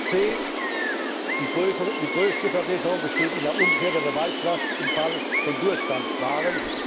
c Die größte Verbesserung besteht in der Umkehr der Beweislast im Fall von Durchgangswaren.